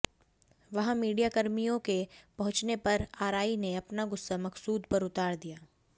वहां मीडियाकर्मियों के पहुंचने पर आरआई ने अपना गुस्सा मकसूद पर उतार दिया